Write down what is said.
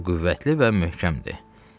O qüvvətli və möhkəmdir.